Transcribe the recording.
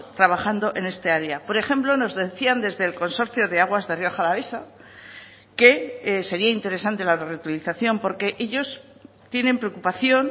trabajando en este área por ejemplo nos decían desde el consorcio de aguas de rioja alavesa que sería interesante la reutilización porque ellos tienen preocupación